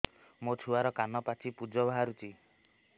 ମୋ ଛୁଆର କାନ ପାଚି ପୁଜ ବାହାରୁଛି